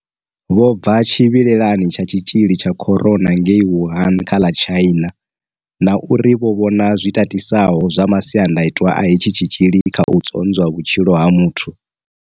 Vho bva tshi vhilelani tsha tshi tzhili tsha corona ngei Wuhan kha ḽa China na uri vho vhona zwi tatisaho zwa masiandaitwa a hetshi tshitzhili kha u tzwonzwa vhutshilo ha muthu.